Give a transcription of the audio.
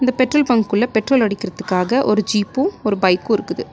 இந்த பெட்ரோல் பங்க்குள்ள பெட்ரோல் அடிக்கிறதுக்காக ஒரு ஜீப்பு ஒரு பைக்கு இருக்குது.